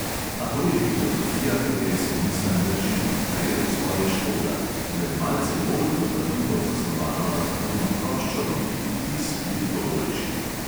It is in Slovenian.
A to je filozofija, katere se nisan drži, kar je po svoje škoda, z le malce bolj dopadljivo zasnovano armaturno ploščo bi bil vtis veliko boljši.